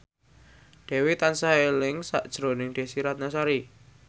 Dewi tansah eling sakjroning Desy Ratnasari